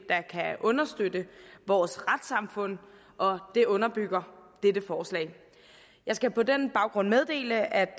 understøtte vores retssamfund og det underbygger dette forslag jeg skal på den baggrund meddele at